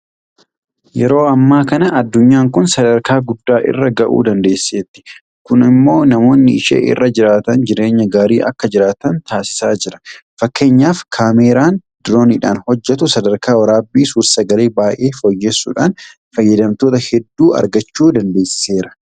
Yeroo ammaa kana addunyaan kun sadarkaa guddaa irra ga'uu dandeesseetti. Kun immoo namoonni ishee irra jiraatan jireenya gaarii akka jiraatan taasisaa jira. Fakkeenyaaf Kaameraan Dirooniidhaan hojjetu sadarkaa waraabbii suursagalee baay'ee fooyyessuudhaan fayyadamtoota hedduu argachuu dandeessiseera.